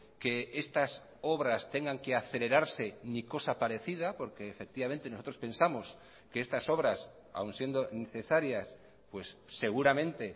que estas obras tengan que acelerarse ni cosa parecida porque efectivamente nosotros pensamos que estas obras aun siendo necesarias pues seguramente